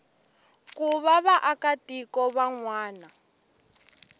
ku va vaakatiko van wana